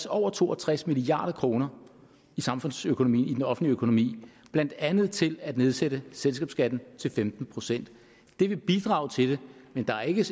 over to og tres milliard kroner i samfundsøkonomien i den offentlige økonomi blandt andet til at nedsætte selskabsskatten til femten procent det vil bidrage til det men der er ikke